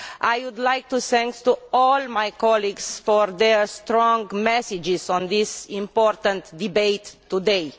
I would also like to thank all my colleagues for their strong messages on this important debate today.